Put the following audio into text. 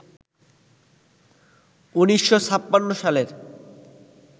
১৯৫৬ সালের